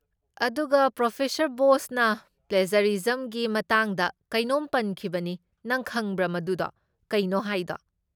ꯑꯗꯨꯒ, ꯄ꯭ꯔꯣꯐ. ꯕꯣꯁꯅ ꯄ꯭ꯂꯦꯖꯔꯤꯖꯝꯒꯤ ꯃꯇꯥꯡꯗ ꯀꯩꯅꯣꯝ ꯄꯟꯈꯤꯕꯅꯤ, ꯅꯪ ꯈꯪꯕ꯭ꯔꯥ ꯃꯗꯨꯗꯣ ꯀꯩꯅꯣ ꯍꯥꯏꯗꯣ?